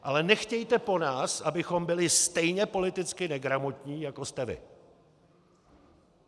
Ale nechtějte po nás, abychom byli stejně politicky negramotní, jako jste vy!